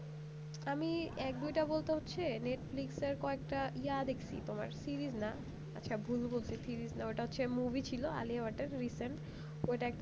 আমি এক দুটা বলতে হচ্ছে netflix র কয়েকটা যা দেখেছি তোমার series না ভুল বলতেছি series না ওটা হচ্ছে movie ছিল আলিয়া ভাটের recent ওইটা একটা